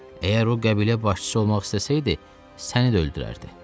Əgər o qəbilə başçısı olmaq istəsəydi, səni də öldürərdi.